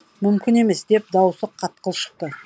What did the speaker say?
мүмкін емес деп дауысы қатқыл шықты